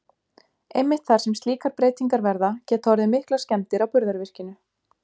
Einmitt þar sem slíkar breytingar verða, geta orðið miklar skemmdir á burðarvirkinu.